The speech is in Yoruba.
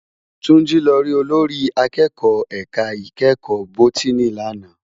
Tunji lò rí ólórì àkèkò èká ikèékò bótìní làná